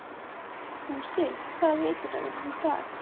Fúsi, hvaða vikudagur er í dag?